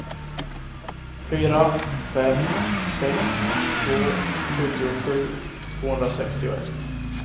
fyra fem sex två sjuttiosju tvåhundrasextioett